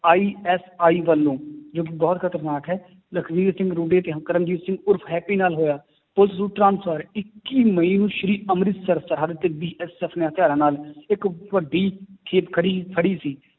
ISI ਵੱਲੋਂ ਜੋ ਕਿ ਬਹੁਤ ਖ਼ਤਰਨਾਕ ਹੈ, ਲਖਵੀਰ ਕਰਮਜੀਤ ਸਿੰਘ ਉਰਫ਼ ਹੈਪੀ ਨਾਲ ਹੋਇਆ ਇੱਕੀ ਮਈ ਨੂੰ ਸ੍ਰੀ ਅੰਮ੍ਰਿਤਸਰ ਸਾਹਿਬ ਤੇ BSF ਨੇ ਹਥਿਆਰਾਂ ਨਾਲ ਇੱਕ ਵੱਡੀ ਖੜੀ ਫੜੀ ਸੀ